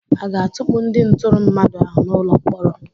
Aga-atukpu ndị ntụrụ mmadụ ahụ n'ụlọ mkpọrọ?